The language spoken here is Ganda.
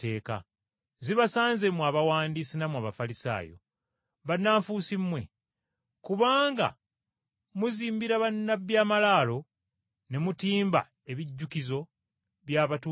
“Zibasanze mmwe Abawandiisi nammwe Abafalisaayo! Bannanfuusi mmwe! Kubanga muzimbira bannabbi ebijjukizo, ne mutimba ebijjukizo, by’abatuukirivu,